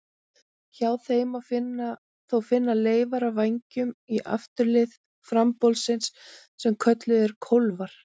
Hjá þeim má þó finna leifar af vængjum á afturlið frambolsins sem kölluð eru kólfar.